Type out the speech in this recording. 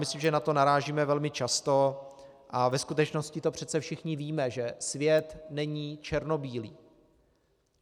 Myslím, že na to narážíme velmi často, a ve skutečnosti to přece všichni víme, že svět není černobílý.